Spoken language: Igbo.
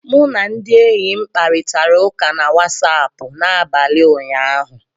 M na ndị enyi m kparịtara ụka na Wasapụ n'abalị ụnyaahụ